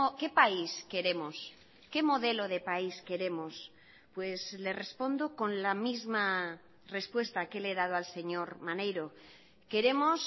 qué país queremos qué modelo de país queremos pues le respondo con la misma respuesta que le he dado al señor maneiro queremos